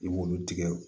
I b'olu tigɛ